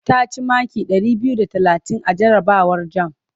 Ta ci maki ɗari biyu da talatin a jarabawar jam.